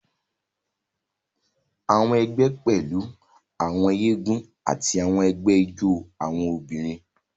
Àwọn egbé pẹlú àwọn eégún ati awọn ẹgbẹ ijó awọn obìnrin.